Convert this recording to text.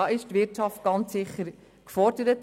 Hier ist die Wirtschaft ganz sicher gefordert.